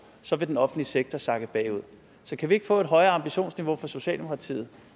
så vil den offentlige sektor sakke bagud så kan vi ikke få et højere ambitionsniveau fra socialdemokratiet